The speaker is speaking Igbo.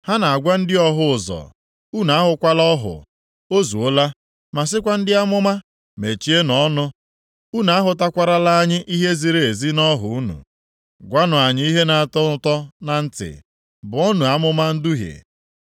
Ha na-agwa ndị ọhụ ụzọ, “Unu ahụkwala ọhụ, o zuola,” ma sịkwa ndị amụma, “Mechienụ ọnụ! Unu ahụtakwarala anyị ihe ziri ezi nʼọhụ unu. Gwanụ anyị ihe na-atọ ụtọ na ntị, buonu amụma nduhie.